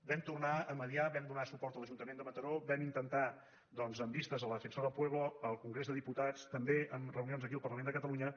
vam tornar a mitjançar vam donar suport a l’ajuntament de mataró vam intentar doncs amb vistes al defensor del pueblo al congrés dels diputats també amb reunions aquí al parlament de catalunya